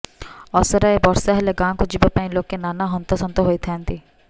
ଅସରାଏ ବର୍ଷା ହେଲେ ଗାଁକୁ ଯିବା ପାଇଁ ଲୋକେ ନାନା ହନ୍ତସନ୍ତ ହୋଇଥାନ୍ତି